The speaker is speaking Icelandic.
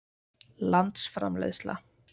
landsframleiðsla